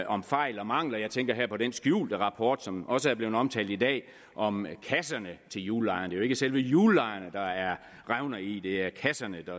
om fejl og mangler jeg tænker her på den skjulte rapport som også er blevet omtalt i dag om kasserne til hjullejerne jo ikke selve hjullejerne der er revner i det er kasserne der